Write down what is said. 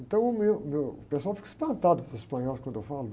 Então, o meu, o meu, o pessoal fica espantado, os espanhóis quando eu falo.